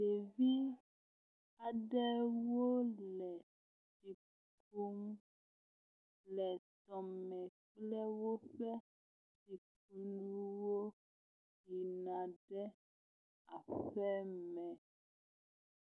Ɖevi aɖewo le mmm ƒo nu le tɔ me kple woƒe nuwo yina ɖe aƒeme.